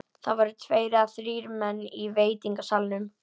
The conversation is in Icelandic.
Það voru tveir eða þrír menn í veitingasalnum.